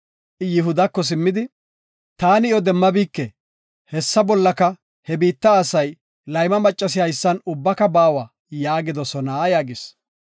I Yihudako simmidi, “ ‘Taani iyo demmabike; hessa bollaka he biitta asay, layma maccas haysan ubbaka baawa’ yaagidosona” yaagis.